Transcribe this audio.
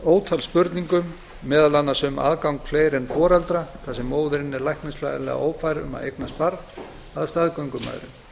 ótal spurningum meðal annars um aðgang fleiri en foreldra þar sem móðirin er læknifræðilega ófær um að eignast barn að staðgöngumæðrun